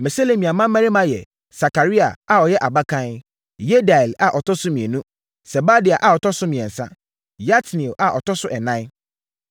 Meselemia mmammarima yɛ: Sakaria a ɔyɛ abakan, Yediael a ɔtɔ so mmienu, Sebadia a ɔtɔ so mmiɛnsa, Yatniel a ɔtɔ so ɛnan.